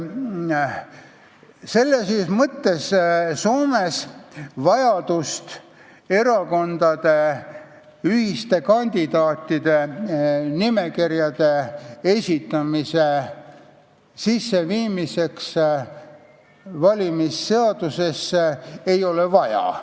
Selles mõttes ei ole Soomes vajadust viia valimisseadusesse sisse erakondade ühiste kandidaatide nimekirju.